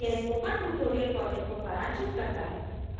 यह spoken tutorial project को सरांशित करता है